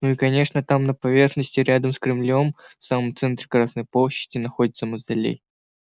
ну и конечно там на поверхности рядом с кремлём в самом центре красной площади находится мавзолей